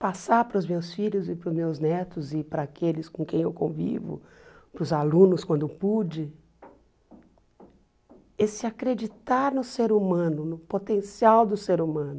Passar para os meus filhos e para os meus netos e para aqueles com quem eu convivo, para os alunos quando pude, esse acreditar no ser humano, no potencial do ser humano,